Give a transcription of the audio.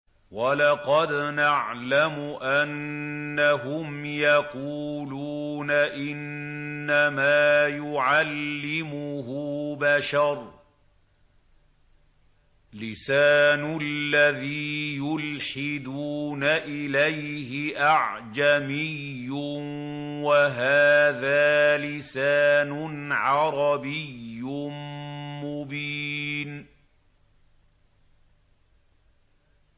وَلَقَدْ نَعْلَمُ أَنَّهُمْ يَقُولُونَ إِنَّمَا يُعَلِّمُهُ بَشَرٌ ۗ لِّسَانُ الَّذِي يُلْحِدُونَ إِلَيْهِ أَعْجَمِيٌّ وَهَٰذَا لِسَانٌ عَرَبِيٌّ مُّبِينٌ